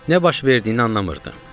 Nə baş verdiyini anlamırdım.